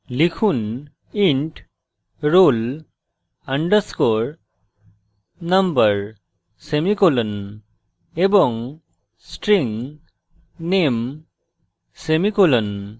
লিখুন int roll _ number semicolon এবং string name semicolon